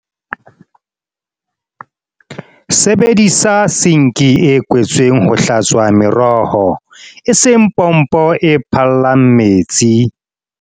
Sebedisa sinki e kwetsweng ho hlatswa meroho, eseng pompo e phallang metsi.